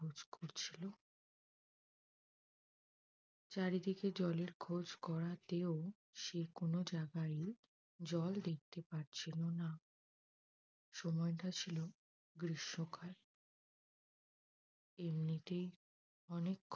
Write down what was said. চারিদিকে জলের খোঁজ করাতেও সে কোনো জাগায় জল দেখতে পারছিল না। সময়টা ছিল গ্রীষ্মকাল এমনিতেই অনেক